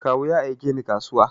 Kawu ya aike ni kasuwa.